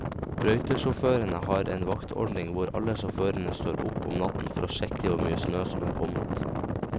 Brøytesjåførene har en vaktordning hvor alle sjåførene står opp om natten for å sjekke hvor mye snø som er kommet.